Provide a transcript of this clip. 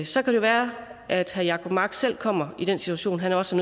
så kan det være at herre jacob mark selv kommer i den situation at han også